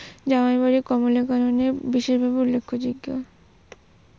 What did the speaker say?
জামাই বাড়ী কমলাবাগানে বিশেষভাবে উল্লেখযোগ্য। দীনবন্ধু মিত্রের মৃত্যু কবে হয়েছিল এবং কত বছর বয়সে হয়েছিল?